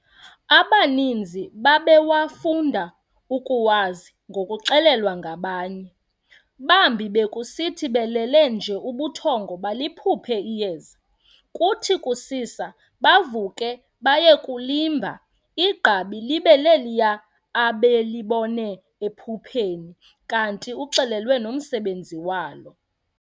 Abaninzi babewafunda ukuwazi ngokuxelelwa ngabanye, bambi bekusithi belele nje ubuthongo baliphuphe iyeza, kuthi kusisa bavuke baye kulimba, igqabi libe leliya abelibona ephupheni, kanti uxelelwe nomsebenzi walo.